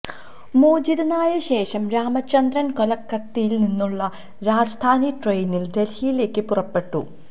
മോചിതനായ ശേഷം രാമചന്ദ്രന് കൊല്ക്കത്തയില് നിന്നുള്ള രാജധാനി ട്രെയിനില് ദല്ഹിയിലേക്ക് പുറപ്പെട്ടു